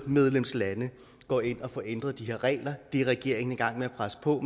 medlemslande går ind og får ændret de her regler det er regeringen i gang med at presse på